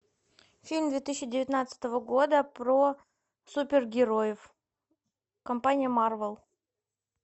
фильм две тысячи девятнадцатого года про супергероев компания марвел